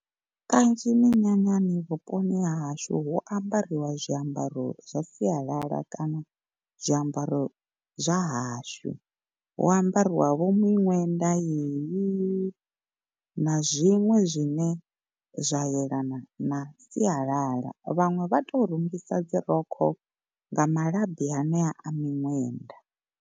Kanzhi minyanyani vhuponi ha hashu hu ambariwa zwiambaro zwa sialala kana zwiambaro zwa hashu. Hu ambariwa vho miṅwenda yeyi na zwiṅwe zwine zwa yelana na sialala vhaṅwe vha to rungisa dzirokho nga malabi anea a miṅwenda.